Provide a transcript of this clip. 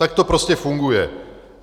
Tak to prostě funguje.